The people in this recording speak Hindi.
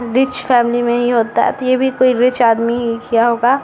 रिच फॅमिली में ही होता है ये भी कोई रिच आदमी ही किया होगा ।